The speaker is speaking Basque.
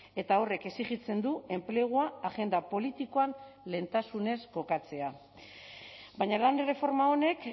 eta horrek exijitzen du enplegua agenda politikoan lehentasunez kokatzea baina lan erreforma honek